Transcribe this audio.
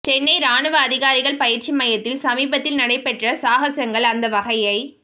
சென்னை ராணுவ அதிகாரிகள் பயிற்சி மையத்தில் சமீபத்தில் நடைபெற்ற சாகசங்கள் அந்த வகையைச்